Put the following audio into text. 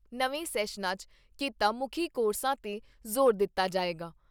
ਨਵੇਂ ਸ਼ੈਸਨਾਂ 'ਚ ਕਿੱਤਾ ਮੁੱਖੀ ਕੋਰਸਾਂ 'ਤੇ ਜ਼ੋਰ ਦਿੱਤਾ ਜਾਏਗਾ।